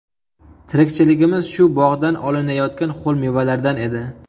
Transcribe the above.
Tirikchiligimiz shu bog‘dan olinayotgan ho‘l mevalardan edi.